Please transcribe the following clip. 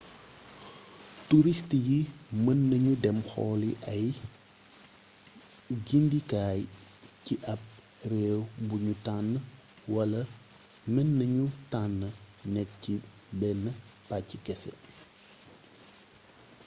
turist yi mën nañu dem xooli ay gindikaay ci ap réew buñu tànn wala men nanu tànn nekk ci benn pàcc kese